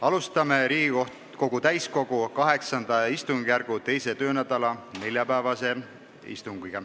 Alustame Riigikogu täiskogu VIII istungjärgu 2. töönädala neljapäevast istungit.